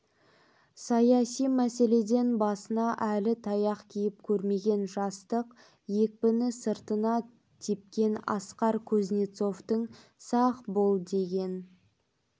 саяси мәселеден басына әлі таяқ тиіп көрмеген жастық екпіні сыртына тепкен асқар кузнецовтың сақ бол деген